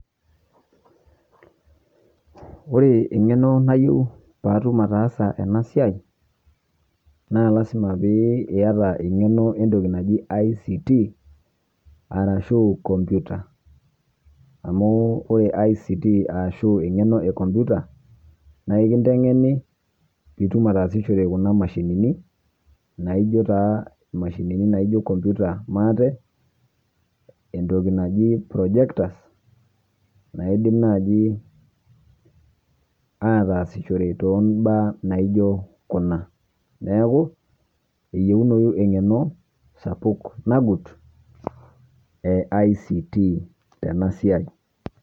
Ore ng'enoo naiyeu paa atuum ataasa ena siai naa lasima pietaa ng'enoo e ntoki najii ICT arashu kompyuta amu ore ICT arashu ng'enoo ekompyuta naa kiteng'eni pii ituum atasishore kuna mashinini naijoo taa mashinini naijoo kompyuta maate. Entoki najii projectors naa idiim naa dii ataasishoreki to baya naijoo kuna. Neeku eyeunoo eng'eno sapuk najuut e ICT tena siai.